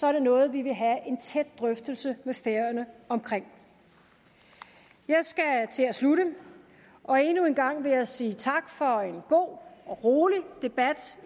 er det noget vi vil have en tæt drøftelse med færøerne om jeg skal til at slutte og endnu en gang vil jeg sige tak for en god og rolig debat